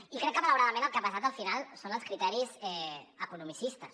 i crec que malauradament els que han pesat al final són els criteris economicistes